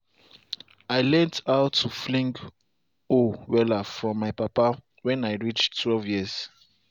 i learnt how to fling hoe wella from my papa when i reach twelve years.